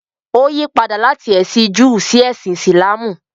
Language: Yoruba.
Ó yí padà láti ẹ̀sìn Júù sí ẹsìn Ìsìlámù.